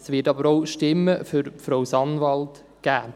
es wird aber auch Stimmen für Frau Sanwald geben.